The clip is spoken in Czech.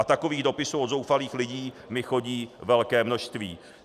A takových dopisů od zoufalých lidí mi chodí velké množství.